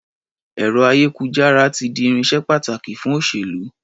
Ẹ̀rọ-ayékujára ti di irinṣẹ́ pàtàkì fún òṣèlú.